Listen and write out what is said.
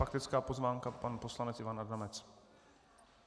Faktická poznámka - pan poslanec Ivan Adamec.